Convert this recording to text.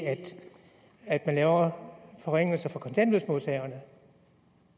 at man laver forringelser for kontanthjælpsmodtagerne